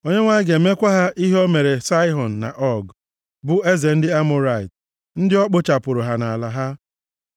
Onyenwe anyị ga-emekwa ha ihe o mere Saịhọn na Ọg, bụ eze ndị Amọrait, ndị o kpochapụrụ ha na ala ha.